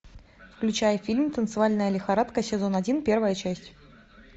включай фильм танцевальная лихорадка сезон один первая часть